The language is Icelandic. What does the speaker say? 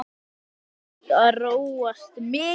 Samt hefur búðin þróast mikið.